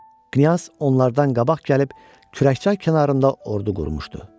Knyaz onlardan qabaq gəlib Kürəkçay kənarında ordu qurmuşdu.